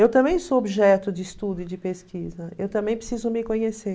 Eu também sou objeto de estudo e de pesquisa, eu também preciso me conhecer.